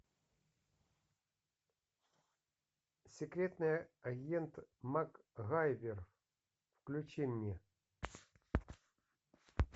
секретный агент макгайвер включи мне